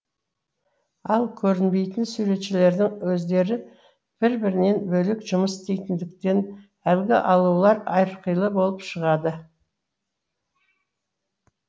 ал көрінбейтін суретшілердің өздері бір бірінен бөлек жұмыс істейтіндіктен әлгі аулалар әрқилы болып шығатын